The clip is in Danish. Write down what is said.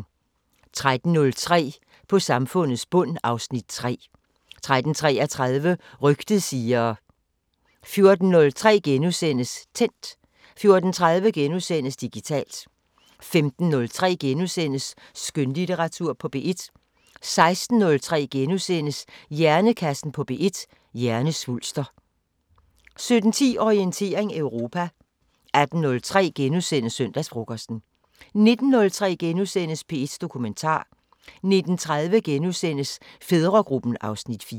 13:03: På samfundets bund (Afs. 3) 13:33: Rygtet siger... 14:03: Tændt * 14:30: Digitalt * 15:03: Skønlitteratur på P1 * 16:03: Hjernekassen på P1: Hjernesvulster * 17:10: Orientering Europa 18:03: Søndagsfrokosten * 19:03: P1 Dokumentar * 19:30: Fædregruppen (Afs. 4)*